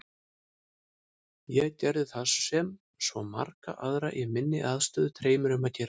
Ég gerði það sem svo marga aðra í minni aðstöðu dreymir um að gera.